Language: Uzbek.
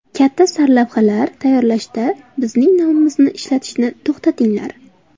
Katta sarlavhalar tayyorlashda bizning nomimizni ishlatishni to‘xtatinglar.